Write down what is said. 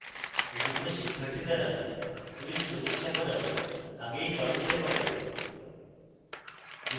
এটি কোনো শিক্ষার্থী দ্বারা quiz প্রচেষ্টা করার আগেই করা যেতে পারে